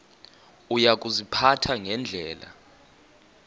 uya kuziphatha ngendlela